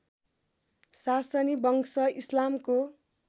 सासनी वंश इस्लामको